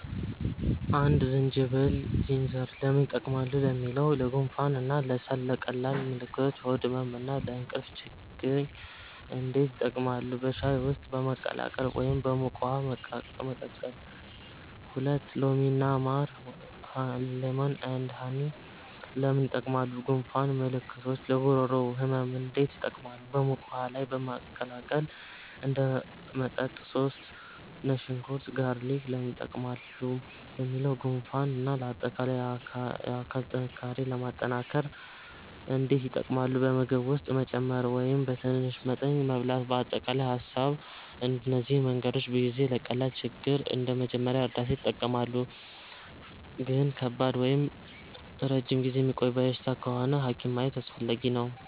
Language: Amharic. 1) ዝንጅብል (Ginger) ለምን ይጠቀማሉ ለሚለው? ለጉንፋን እና ለሳል ቀላል ምልክቶች ለሆድ ህመም እና ለእንቅልፍ ችግኝ እንዴት ይጠቀማሉ? በሻይ ውስጥ በማቀላቀል ወይም በሙቅ ውሃ መቀቀል 2) ሎሚ እና ማር (Lemon & Honey) ለምን ይጠቀማሉ? ለጉንፋን ምልክቶች ለጉሮሮ ህመም እንዴት ይጠቀማሉ? በሙቅ ውሃ ላይ በማቀላቀል እንደ መጠጥ 3) ነጭ ሽንኩርት (Garlic) ለምን ይጠቀማሉ ለሚለው? ለጉንፋን እና ለአጠቃላይ የአካል ጥንካሬ ለማጠናከር እንዴት ይጠቀማሉ? በምግብ ውስጥ መጨመር ወይም በትንሽ መጠን መብላት አጠቃላይ ሀሳብ እነዚህ መንገዶች ብዙ ጊዜ ለቀላል ችግር እንደ መጀመሪያ እርዳታ ይጠቀማሉ ግን ከባድ ወይም ረጅም ጊዜ የሚቆይ በሽታ ከሆነ ሐኪም ማየት አስፈላጊ ነው